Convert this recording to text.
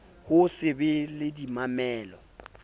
ho se be le dimamello